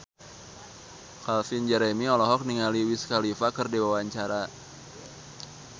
Calvin Jeremy olohok ningali Wiz Khalifa keur diwawancara